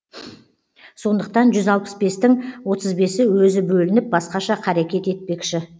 сондықтан жүз алпыс бестің отыз бесі өзі бөлініп басқаша қарекет етпекші